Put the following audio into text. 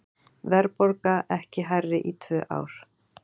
Verðbólga ekki hærri í tvö ár